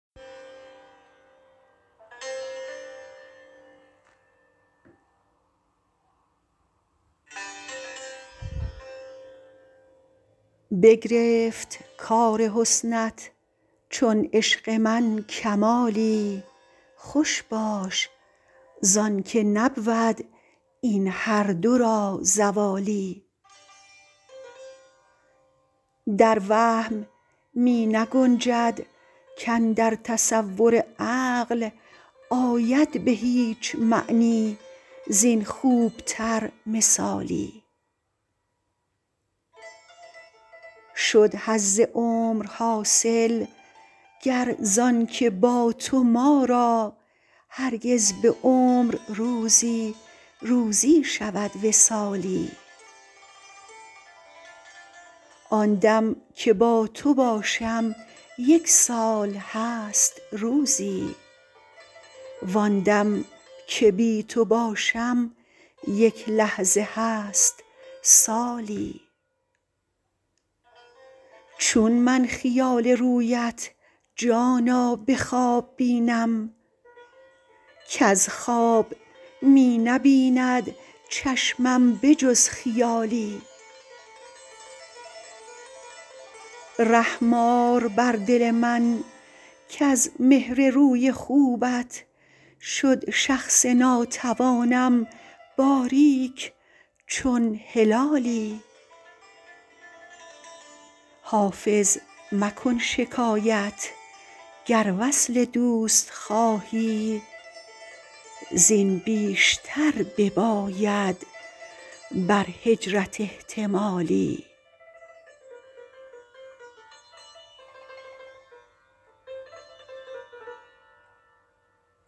بگرفت کار حسنت چون عشق من کمالی خوش باش زان که نبود این هر دو را زوالی در وهم می نگنجد کاندر تصور عقل آید به هیچ معنی زین خوب تر مثالی شد حظ عمر حاصل گر زان که با تو ما را هرگز به عمر روزی روزی شود وصالی آن دم که با تو باشم یک سال هست روزی وان دم که بی تو باشم یک لحظه هست سالی چون من خیال رویت جانا به خواب بینم کز خواب می نبیند چشمم به جز خیالی رحم آر بر دل من کز مهر روی خوبت شد شخص ناتوانم باریک چون هلالی حافظ مکن شکایت گر وصل دوست خواهی زین بیشتر بباید بر هجرت احتمالی